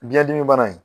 Biyɛn dimi bana in